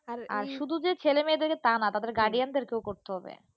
আর শুধু যে ছেলেমেয়েদের কে তা না, তাদের guardian দেরকেও করতে হবে।